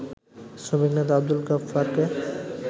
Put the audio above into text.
শ্রমিক নেতা আব্দুল গাফ্ফারকে